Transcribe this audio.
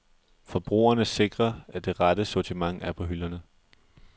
Forbrugerne sikrer, at det rette sortiment er på hylderne.